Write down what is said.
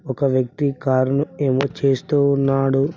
ఒక వ్యక్తి కారు ను ఏదో చేస్తూ ఉన్నాడు.